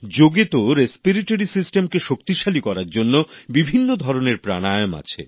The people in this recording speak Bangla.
যোগে তো শ্বসন তন্ত্রকে শক্তিশালী করার জন্য বিভিন্ন ধরনের প্রাণায়ম আছে